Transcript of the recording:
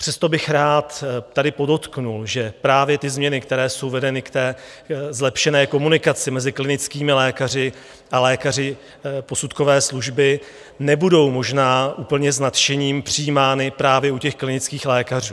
Přesto bych rád tady podotkl, že právě ty změny, které jsou vedeny k té zlepšené komunikaci mezi klinickými lékaři a lékaři posudkové služby, nebudou možná úplně s nadšením přijímány právě u těch klinických lékařů.